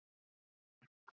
Og nokkrir minni spámenn.